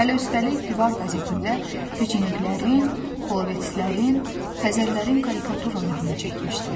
Hələ üstəlik divar qəzetində peçeniklərin, polovetslərin, Xəzərlərin karikaturalarını çəkmişdilər.